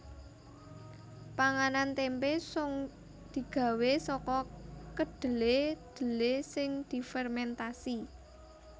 Panganan témpé sung digawé saka kedhelé dhelé sing difermèntasi